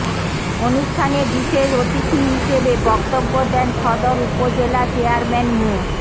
অনুষ্ঠানে বিশেষ অতিথি হিসেবে বক্তব্য দেন সদর উপজেলা চেয়ারম্যান মো